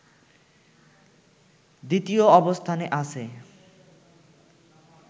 দ্বিতীয় অবস্থানে আছে